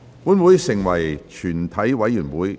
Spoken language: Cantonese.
現在成為全體委員會。